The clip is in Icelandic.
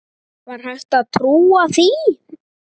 Var hægt að trúa því?